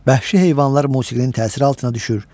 bəhşi heyvanlar musiqinin təsiri altına düşür,